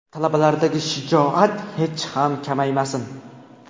Talabalardagi shijoat hech ham kamaymasin.